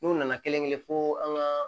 N'u nana kelen-kelen fo an ka